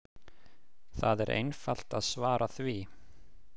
Það er einfalt að svara því!